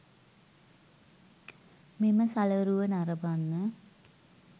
මෙම සලරුව නරබන්න.